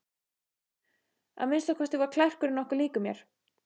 Að minnsta kosti var klerkurinn nokkuð líkur mér.